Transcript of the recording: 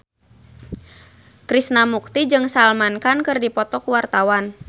Krishna Mukti jeung Salman Khan keur dipoto ku wartawan